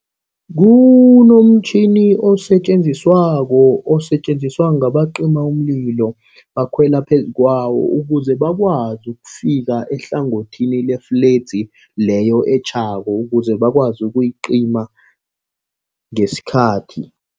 Kunomtjhini osetjenziswako, osetjenziswa ngabacima umlilo. Bakhwela phezu kwawo ukuze bakwazi ukufika ehlangothini lefledzi leyo etjhako. Ukuze bakwazi ukuyicima ngesikhathi.